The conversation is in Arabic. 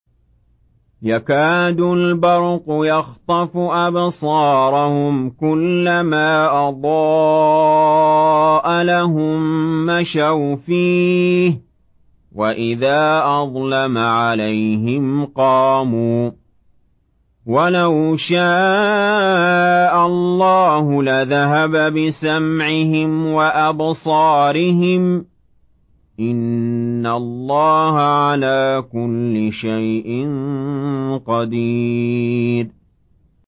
يَكَادُ الْبَرْقُ يَخْطَفُ أَبْصَارَهُمْ ۖ كُلَّمَا أَضَاءَ لَهُم مَّشَوْا فِيهِ وَإِذَا أَظْلَمَ عَلَيْهِمْ قَامُوا ۚ وَلَوْ شَاءَ اللَّهُ لَذَهَبَ بِسَمْعِهِمْ وَأَبْصَارِهِمْ ۚ إِنَّ اللَّهَ عَلَىٰ كُلِّ شَيْءٍ قَدِيرٌ